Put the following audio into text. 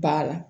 Ba la